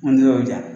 An tila o diya